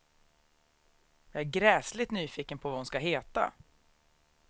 Jag är gräsligt nyfiken på vad hon ska heta.